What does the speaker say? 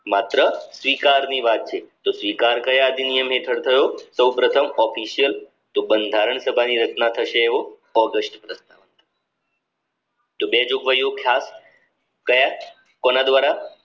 માત્ર સ્વીકારની વાત છે તો સ્વીકાર કયા અધિનિયમ હેઠળ થયો? સૌપ્રથમ ઓફિસિયલ તો બંધારણ સભાની રચના થશે એવો ઓગસ્ટ તો બે જોગવાયો ખાસ ક્યાં કોના દ્વારા